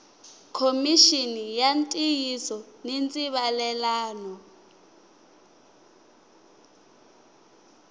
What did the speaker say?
khomixini ya ntiyiso ni ndzivalelano